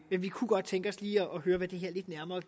men vi kunne godt tænke os lige at høre lidt nærmere